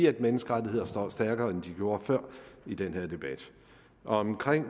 at menneskerettighederne står stærkere end de gjorde før i den her debat omkring